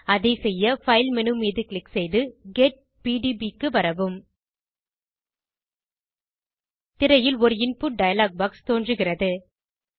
அதைசெய்ய file menu மீது click செய்து get PDB க்கு வரவும் திரையில் ஒரு இன்புட் டயலாக் பாக்ஸ் தோன்றுகிறது